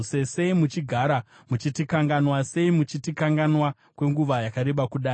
Sei muchigara muchitikanganwa? Sei muchitikanganwa kwenguva yakareba kudai?